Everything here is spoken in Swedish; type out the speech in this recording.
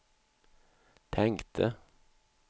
tänkte